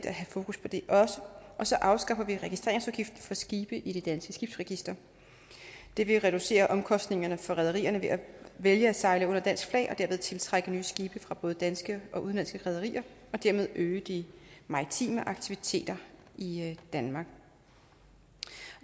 at have fokus på det så afskaffer vi registreringsafgiften for skibe i det danske skibsregister det vil reducere omkostningerne for rederierne ved at vælge at sejle under dansk flag og derved tiltrække nye skibe fra både danske og udenlandske rederier og dermed øge de maritime aktiviteter i danmark